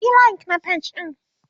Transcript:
Yi like na page ɗin!.